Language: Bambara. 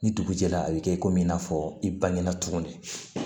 Ni dugu jɛra a bɛ kɛ i komi i n'a fɔ i bangena cogo min